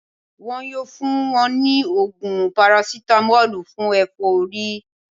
Wọn yóò fún wọn ní ògùn parasitamọ́lù fún ẹ̀fọ́rí